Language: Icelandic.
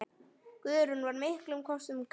Guðrún var miklum kostum gædd.